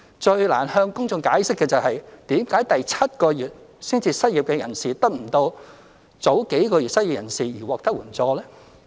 最難向公眾解釋的是，為甚麼第七個月才失業的人士得不到與早數個月失業的人士獲得的援助？